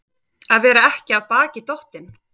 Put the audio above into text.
Að vera ekki af baki dottinn